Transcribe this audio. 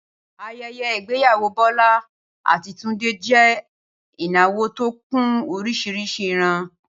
Ayẹyẹ ìgbéyàwó Bọ́lá àti Túndé jẹ́ ìnáwó tó kún oríṣiríṣi ìran